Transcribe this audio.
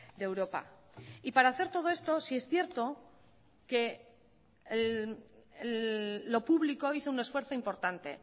de europa y para hacer todo esto sí es cierto que lo público hizo un esfuerzo importante